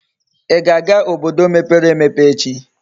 Íga aga obodo mepere emepe echi?